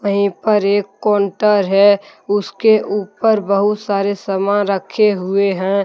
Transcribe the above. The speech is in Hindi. यहीं पर एक कोंटर है उसके ऊपर बहुत सारे सामान रखे हुए हैं।